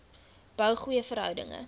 bou goeie verhoudinge